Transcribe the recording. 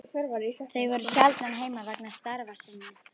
Þau voru sjaldan heima vegna starfa sinna.